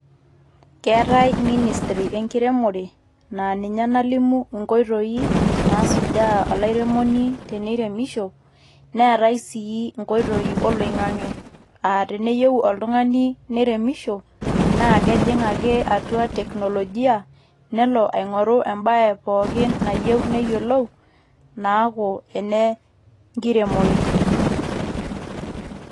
Keetai ministry enkiremore aan ninye nalimu inkoitoi naasujaa olairemoni teneiremisho neetai sii inkoitoi oloing'ange aa teneyieu oltung'ani neiremisho naa kejing ake atua technologia nelo aing'oru embae pooki nayieu neyiolou naaku enenkiremore.